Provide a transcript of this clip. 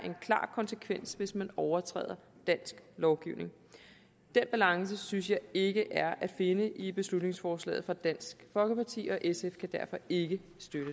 en klar konsekvens hvis man overtræder dansk lovgivning den balance synes jeg ikke er at finde i beslutningsforslaget fra dansk folkeparti og sf kan derfor ikke